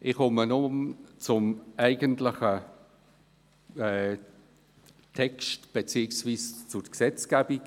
Ich komme nun zum eigentlichen Text beziehungsweise zur Gesetzgebung.